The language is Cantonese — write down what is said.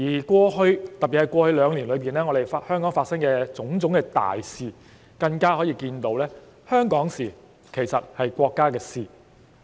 過去，特別是過去兩年，從香港發生的種種大事可以看到，香港的事情其實是國家的事情。